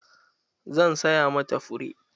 Zan saya ma ta fure.